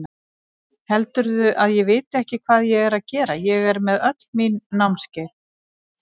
Heldurðu að ég viti ekki hvað ég er að gera, ég með öll mín námskeið.